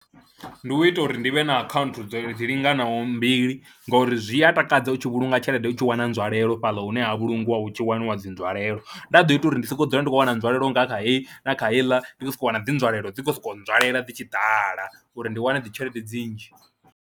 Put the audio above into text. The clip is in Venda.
Ndi u ita uri ndi vhe na akhaunthu dzo dzi linganaho mbili ngori zwi a takadza u tshi vhulunga tshelede u tshi wana nzwalelo fhaḽa hune ha vhulungiwa hu tshi waniwa dzi nzwalelo, nda ḓo ita uri ndi sokou dzula ndi khou wana nzwalelo nga kha heyi na kha heiḽa, ndi khou sokou wana dzi nzwalelo dzi khou sokou nzwalelo dzi tshi ḓala uri ndi wane dzi tshelede dzi nnzhi.